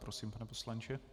Prosím, pane poslanče.